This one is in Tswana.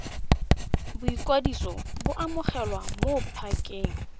boikwadiso bo amogelwa mo pakeng